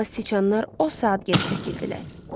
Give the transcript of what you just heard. Amma siçanlar o saat geri çəkildilər.